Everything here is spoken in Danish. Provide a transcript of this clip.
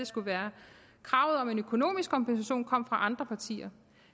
skulle være kravet om en økonomisk kompensation kom fra andre partier